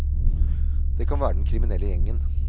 Det kan være den kriminelle gjengen.